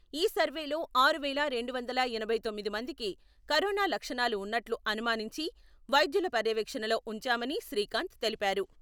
ఈసర్వేలో ఆరు వేల రెండు వందల ఎనభై తొమ్మిది మందికి కరోనా లక్షణాలు ఉన్నట్లు అనుమానించి వైద్యుల పర్యవేక్షణలో ఉంచామని శ్రీకాంత్ తెలిపారు.